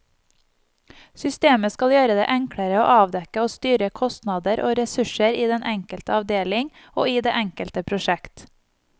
Systemet skal gjøre det enklere å avdekke og styre kostnader og ressurser i den enkelte avdeling og i det enkelte prosjekt.